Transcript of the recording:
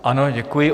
Ano, děkuji.